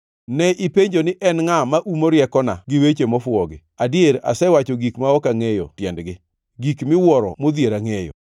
Ne ipenjo ni, ‘En ngʼa ma umo riekona gi weche mofuwogi?’ Adier asewacho gik ma ok angʼeyo tiendgi, gik miwuoro modhiera ngʼeyo.